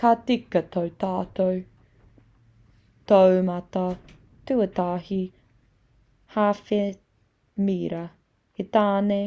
ka tika tō tātou taumata-tuatahi hāwhe-mira he tāne